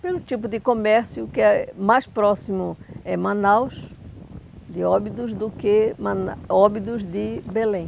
Pelo tipo de comércio, o que é mais próximo é Manaus de Óbidos do que Mana Óbidos de Belém.